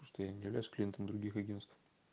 что я не являюсь клиентом других агентств